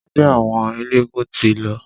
Ẹgbẹ́ àwọn eléegún ti lọ.